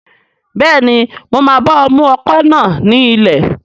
Bẹ́ẹ̀ni, mo máa bá ọ mú ọkọ̀ náà ní ilẹ̀